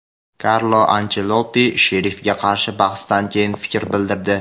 Karlo Anchelotti "Sherif"ga qarshi bahsdan keyin fikr bildirdi:.